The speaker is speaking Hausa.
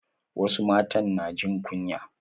Wasu matan na jin kunya.